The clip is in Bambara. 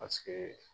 Paseke